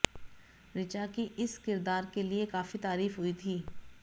ऋचा की इस किरदार के लिए काफी तारीफ हुई थी